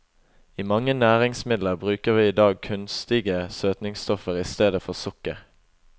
I mange næringsmidler bruker vi i dag kunstige søtningsstoffer i stedet for sukker.